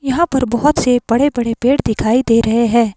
यहां पर बहुत से बड़े-बड़े पेड़ दिखाई दे रहे हैं।